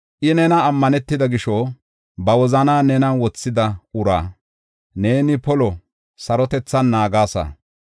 I nenan ammanetida gisho, ba wozanaa nenan wothida uraa, neeni polo sarotethan naagasa.